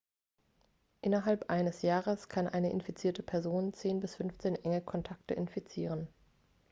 innerhalb eines jahres kann eine infizierte person 10 bis 15 enge kontakte infizieren